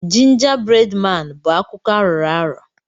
Jinja bred maan bụ akụkọ arọrọ arọ.